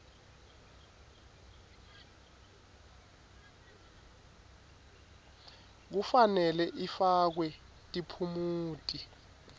kufanele ifakwe tiphumuti